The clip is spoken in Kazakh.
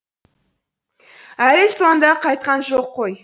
әлі сонда қайтқан жоқ қой